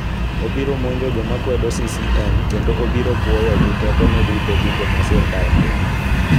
Obiro monjo joma kwedo CCM kendo obiro pwoyo gi tekone duto gigo ma sirkal timo.